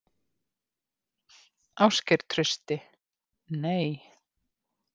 Ásgeir Trausti: Nei.